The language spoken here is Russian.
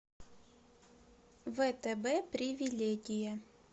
втб привилегия